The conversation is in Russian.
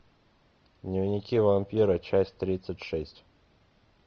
дневники вампира часть тридцать шесть